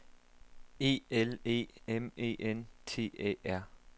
E L E M E N T Æ R